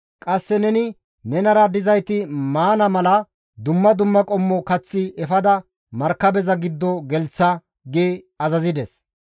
Qasse neninne nenara dizayti maana mala dumma dumma qommo kath efada markabeza giddo gelththa» gi azazides.